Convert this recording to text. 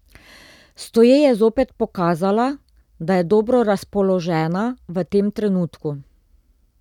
Stoje je zopet pokazala, da je dobro razpoložena v tem trenutku.